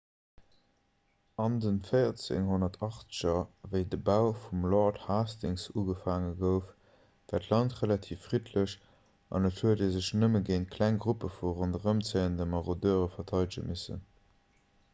an den 1480er wéi de bau vum lord hastings ugefaange gouf war d'land relativ friddlech an et huet ee sech nëmme géint kleng gruppe vu ronderëmzéiende marodeure verteidege missen